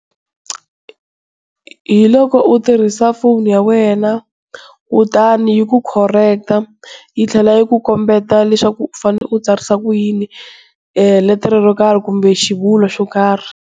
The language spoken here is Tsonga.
Hiloko u tirhisa foni ya wena, kutani yi ku correct yi tlhela yi ku kombeta leswaku u fane u tsarisa ku yini letere ro nkarhi kumbe xivulwa xo karhi.